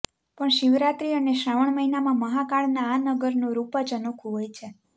પણ શિવરાત્રિ અને શ્રાવણ મહિનામાં મહાકાળના આ નગરનું રૂપ જ અનોખુ હોય છે